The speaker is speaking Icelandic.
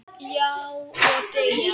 Já, og deyja